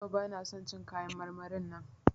Yau bana son cin kayan marmarin nan.